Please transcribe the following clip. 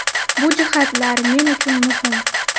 Bu jihatlar men uchun muhim.